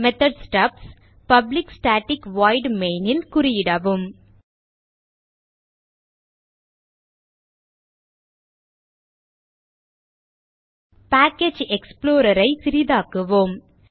methods stubs public static void main ல் குறியிடவும் package explorer ஐ சிறிதாக்குவோம்